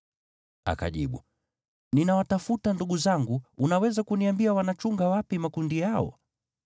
Akajibu, “Ninawatafuta ndugu zangu. Unaweza kuniambia wanachunga wapi makundi yao?”